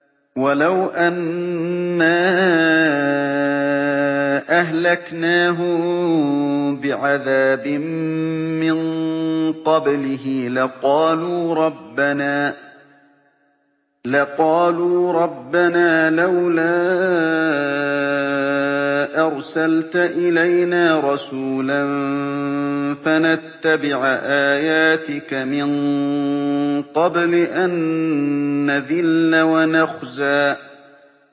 وَلَوْ أَنَّا أَهْلَكْنَاهُم بِعَذَابٍ مِّن قَبْلِهِ لَقَالُوا رَبَّنَا لَوْلَا أَرْسَلْتَ إِلَيْنَا رَسُولًا فَنَتَّبِعَ آيَاتِكَ مِن قَبْلِ أَن نَّذِلَّ وَنَخْزَىٰ